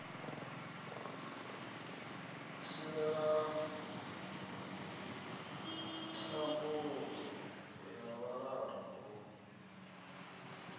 thivhela thambudzo ya vhalala huna